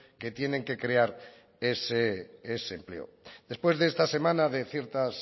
que tienen que crear ese empleo después de esta semana de ciertas